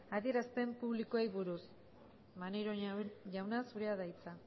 adierazpen publikoei buruz maneiro jauna zurea da hitza